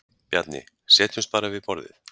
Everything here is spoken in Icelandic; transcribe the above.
Bjarni: Setjumst bara við borðið.